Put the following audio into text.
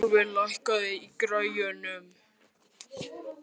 Hrólfur, lækkaðu í græjunum.